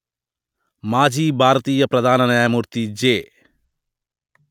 మాజీ భారతీయ ప్రధాన న్యాయమూర్తి జె